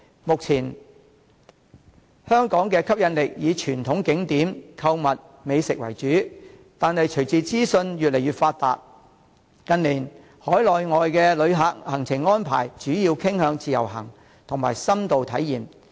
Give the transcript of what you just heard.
目前，香港的吸引力以傳統景點、購物、美食為主，但隨着資訊越來越發達，近年海內外旅客行程安排主要傾向自由行和深度體驗。